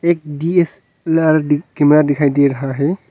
एक DSLR_ camera दिखाई दे रहा है।